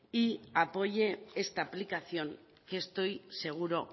y apoye esta aplicación que estoy seguro